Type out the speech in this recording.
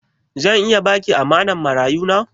Zan iya ba ki amanan marayu na?